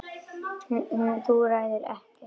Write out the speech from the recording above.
Þú ræður ekkert við hann.